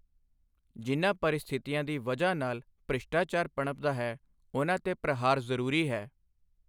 ਜਿਨ੍ਹਾਂ ਪਰਿਸਥਿਤੀਆਂ ਦੀ ਵਜ੍ਹਾ ਨਾਲ ਭ੍ਰਿਸ਼ਟਾਚਾਰ ਪਣਪਦਾ ਹੈ, ਉਨ੍ਹਾਂ ਤੇ ਪ੍ਰਹਾਰ ਜ਼ਰੂਰੀ ਹੈ।